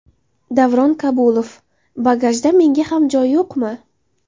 Davron Kabulov: Bagajda menga ham joy yo‘qmi?